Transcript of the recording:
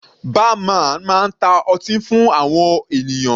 Bar man máa ta ọtí fún àwọn ènìyàn.